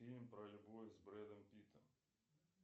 фильм про любовь с брэдом питтом